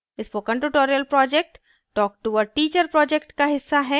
spoken tutorial project talktoa teacher project का हिस्सा है